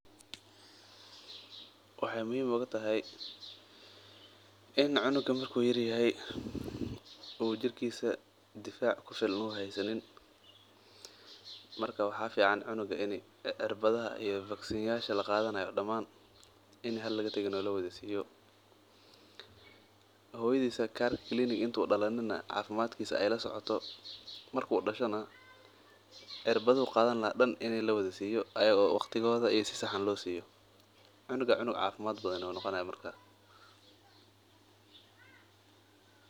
Waxaay muhiim oogu tahay in cunuga marku uu yaryahay waxaa fican in cirbadaha damaan lawada siiyo hooyadisa cafimaadkiisa aay lasocoto cunuga cunug cafimaad badan ayuu noqonaaya Marka.